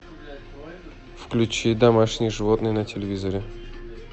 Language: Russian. включи домашние животные на телевизоре